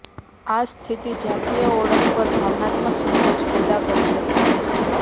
આ સ્થિતિ જાતીય ઓળખ પર ભાવનાત્મક સંઘર્ષ પેદા કરી શકે છે